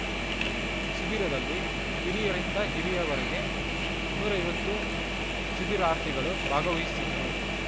ಶಿಬಿರದಲ್ಲಿ ಕಿರಿಯರಿಂದ ಹಿರಿಯವರೆಗೆ ನೂರ ಐವತ್ತು ಶಿಬಿರಾರ್ಥಿಗಳು ಭಾಗವಹಿಸಿದ್ದರು